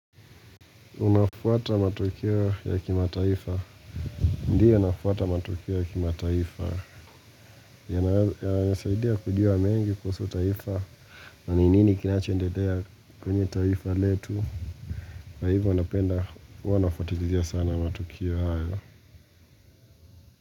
Unafuata matokeo ya kimataifa. Ndiyo nafuata matokeo ya kimataifa. Yanasaidia kujua mengi kuhusu taifa. Na ni nini kinacho endelea kwenye taifa letu. Kwa hivyo napenda, huwa nafuatilia sana matokeo hayo.